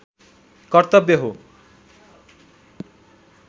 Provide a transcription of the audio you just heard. कर्तव्य हो